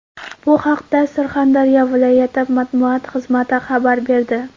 Bu haqda Surxondaryo viloyati matbuot xizmati xabar berdi .